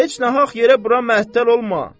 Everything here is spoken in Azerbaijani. Heç nahaq yerə bura məhdəl olma.